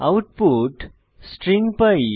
output string pi